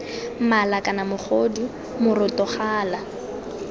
mala kana mogodu moroto gala